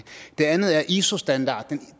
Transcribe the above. det andet er iso standard